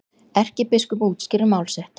Erkibiskup útskýrir mál sitt